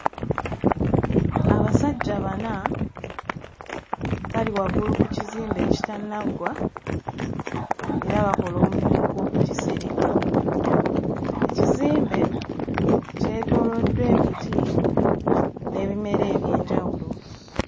Abasajja bana bali waggulu ku kizimbe ekitannaggwa era bakola omulimu ogw'okukisereka. Ekizimbe kyetooloddwa emiti n'ebimera eby'enjawulo.